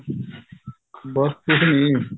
ਬੱਸ ਕੁੱਝ ਨੀ